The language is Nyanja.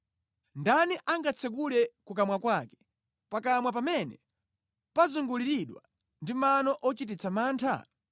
Ndani angatsekule kukamwa kwake, pakamwa pamene pazunguliridwa ndi mano ochititsa mantha?